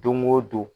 Don go don